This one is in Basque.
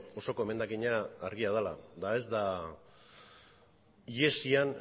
osoko emendakina argia dela eta ez da ihesian